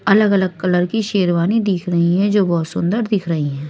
अलग अलग कलर की शेरवानी दिख रही हैं जो बहोत सुंदर दिख रहीं हैं।